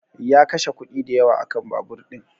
Ya kashe kuɗi dayawa a kan babur ɗin